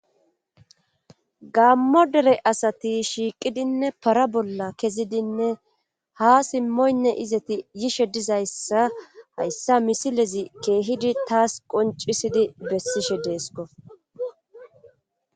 gammo dere asati shiiqidinne para bolla kezidinne ha simmoynne izeti yishe dizayssa hayssa misilezi keehidi taas qoncisidi bessishe deesko